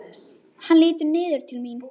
Hann lítur niður til mín.